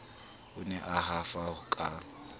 o ne a hafa ka